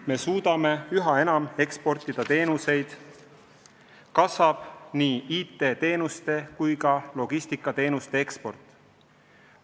Me suudame üha enam eksportida teenuseid, kasvab nii IT-teenuste kui ka logistikateenuste eksport.